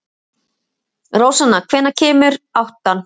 Rósanna, hvenær kemur áttan?